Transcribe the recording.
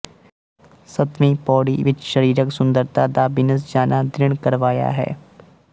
ਸਤਵੀਂ ਪਉੜੀ ਵਿੱਚ ਸਰੀਰਕ ਸੁੰਦਰਤਾ ਦਾ ਬਿਨਸ ਜਾਣਾ ਦ੍ਰਿੜ ਕਰਵਾਇਆ ਹੈ